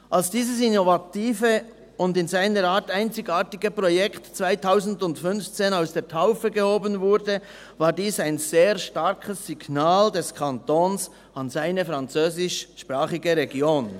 Als dieses innovative und in seiner Art einzigartige Projekt 2015 aus der Taufe gehoben wurde, war dies ein sehr starkes Signal des Kantons an seine französischsprachige Region.